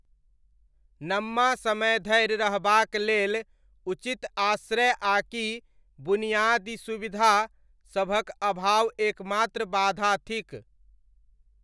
नम्मा समय धरि रहबाक लेल उचित आश्रय आकि बुनियादी सुविधासभक अभाव एकमात्र बाधा थिक।